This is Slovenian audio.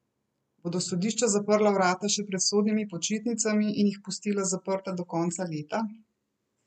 Bodo sodišča zaprla vrata še pred sodnimi počitnicami in jih pustila zaprta do konca leta?